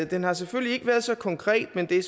den har selvfølgelig ikke været så konkret men det